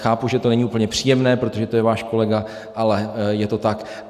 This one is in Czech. Chápu, že to není úplně příjemné, protože to je váš kolega, ale je to tak.